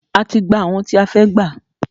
A ti gbà àwọn tí a fẹ́ gbà.